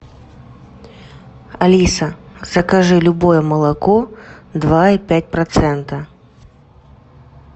алиса закажи любое молоко два и пять процента